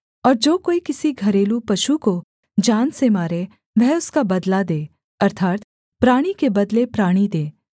और जो कोई किसी घरेलू पशु को जान से मारे वह उसका बदला दे अर्थात् प्राणी के बदले प्राणी दे